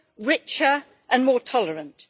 richer and more tolerant.